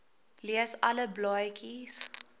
lees alle blaadjies